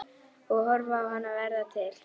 Og horfa á hana verða til.